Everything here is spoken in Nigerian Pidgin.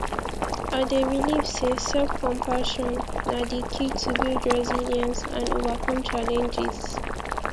i dey believe say selfcompassion na di key to build resilience and overcome challenges